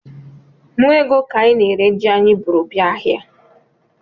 Nnụ ego ka anyị na-ere ji anyị bụrụ bịa ahịa